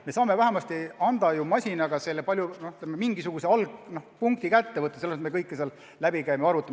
Me saame vähemasti lasta masinal mingisuguse algpunkti leida, selle asemel et ise kõik läbi käia ja arvutada.